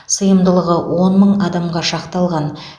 сыйымдылығы он мың адамға шақталған